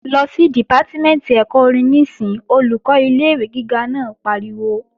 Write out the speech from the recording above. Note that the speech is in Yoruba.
Lọ sí Dìpátímẹ̀ntì ẹ̀kọ́ orin níìsín! Olùkọ́ ilé-ìwé gíga naa pariwo